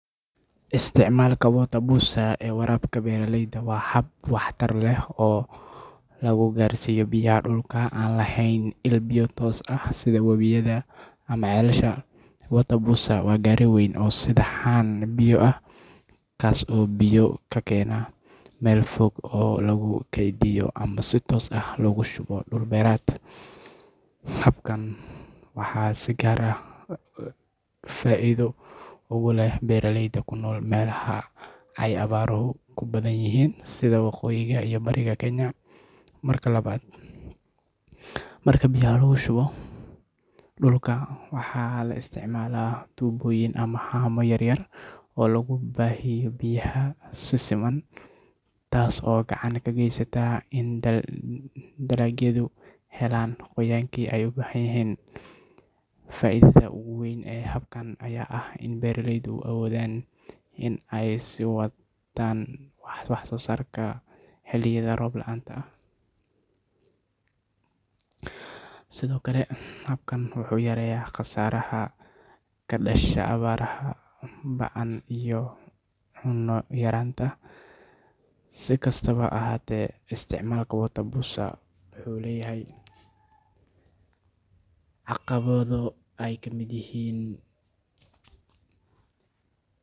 sticmaalka water boozer ee waraabka beeraleyda waa hab waxtar leh oo lagu gaarsiiyo biyaha dhulka aan lahayn il biyo toos ah sida webiyada ama ceelasha. Water boozer waa gaari weyn oo sida haan biyo ah, kaas oo biyo ka keena meel fog oo lagu kaydiyo ama si toos ah loogu shubo dhul beereed. Habkan waxaa si gaar ah faa’iido ugu leh beeraleyda ku nool meelaha ay abaaruhu ku badan yihiin sida waqooyiga iyo bariga Kenya. Marka biyaha lagu shubo dhulka, waxaa la isticmaalaa tuubooyin ama haamo yaryar oo lagu baahiyo biyaha si siman, taas oo gacan ka geysata in dalagyadu helaan qoyaankii ay u baahnaayeen. Faa’iidada ugu weyn ee habkan ayaa ah in beeraleydu awoodaan in ay sii wataan wax-soo-saarkooda xilliyada roob la’aanta ah. Sidoo kale, habkan wuxuu yareeyaa khasaaraha ka dhasha abaaraha ba’an iyo cunno yaraanta. Si kastaba ha ahaatee, isticmaalka water boozer wuxuu leeyahay caqabado ay ka mid yihiin.